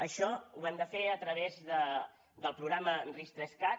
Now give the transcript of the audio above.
això ho hem de fer a través del programa ris3cat